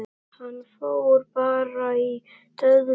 Hann fór bara í döðlur!